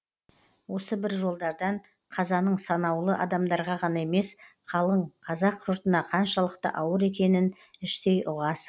осы бір жолдардан қазаның санаулы адамдарға ғана емес қалың қазақ жұртына қаншалықты ауыр екенін іштей ұғасың